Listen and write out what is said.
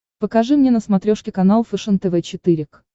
покажи мне на смотрешке канал фэшен тв четыре к